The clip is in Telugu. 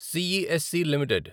CESC limited